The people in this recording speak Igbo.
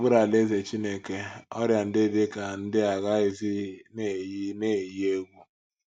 N’okpuru Alaeze Chineke, ọrịa ndị dị ka ndị a agaghịzi na - eyi na - eyi egwu